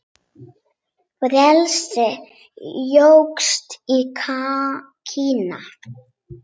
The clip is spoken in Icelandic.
Frelsi jókst í Kína.